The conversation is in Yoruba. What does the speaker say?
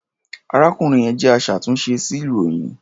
Arákùnrin yẹn jẹ́ aṣàtúnṣe sí ilròyìn.